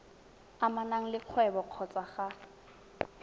amanang le kgwebo kgotsa ga